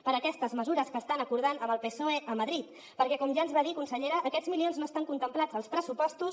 per aquestes mesures que estan acordant amb el psoe a madrid perquè com ja ens va dir consellera aquests milions no estan contemplats als pressupostos